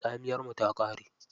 Tsamiyar mu ta ƙare.